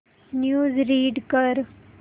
news read कर